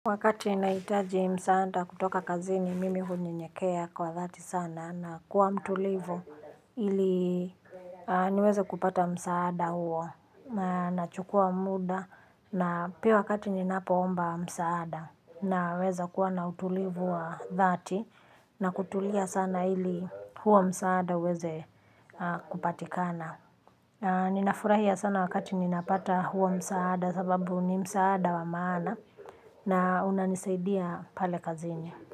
Wakati naitaji msaada kutoka kazini, mimi hunyenyekea kwa dhati sana na kuwa mtulivu ili niweze kupata msaada huo na nachukua muda na pia wakati ninapoomba msaada naweza kuwa na utulivu wa dhati na kutulia sana ili huo msaada uweze kupatikana. Ninafurahia sana wakati ninapata huo msaada. Sababu ni msaada wa maana. Na unanisaidia pale kazini.